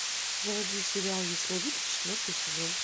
заводи сериал ясновидец четвертый сезон